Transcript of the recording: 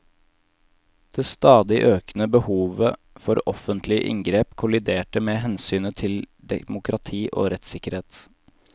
Det stadig økende behovet for offentlige inngrep kolliderte med hensynet til demokrati og rettssikkerhet.